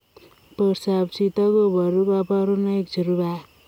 Portoop chitoo kobaruu kabarunaik cherubei ak